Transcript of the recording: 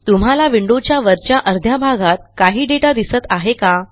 तुम्हाला विंडोच्या वरच्या अर्ध्या भागात काही डेटा दिसत आहे का